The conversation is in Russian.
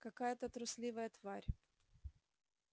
какая-то трусливая тварь